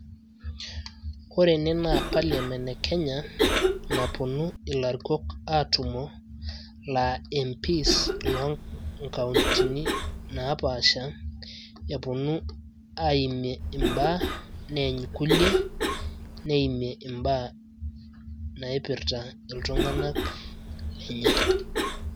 ore ene naa parliament e kenya, napuonu ilarikok aatumo. laa mps loo kauntini naapasha. epuonu aaimie ibaa, neeny kulie, neimie imbaa, naaipirta iltunganak lenye.